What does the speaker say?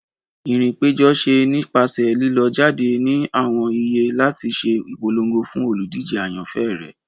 irìn ipejo ṣe nipasẹ lilọ jade ni awọn iyé lati ṣe ipolongo fun olúdije ayanfẹ rẹ.